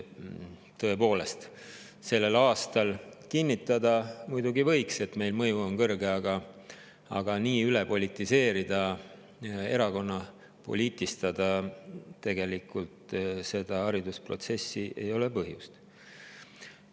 Tõepoolest, selle aasta kohta on muidugi võimalik kinnitada, et meie mõju on, aga haridusprotsessi üle politiseerida, erakonnapoliitikaga ei ole põhjust.